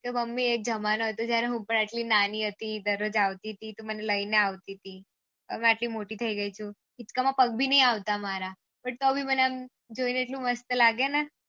તો મામ્મું એક જમાનો હતો જયારે હું પણ એટલું નાની હતી દરરોજ આવતી હતી તું મને લઇ ને આવતી થી હવે આટલું મોટી થઇ ગયી છું હીચકા માં પગ ભી નહી આવતા મારા પણ તો ભી મને જોઇને એટલું મસ્ત લાગે ને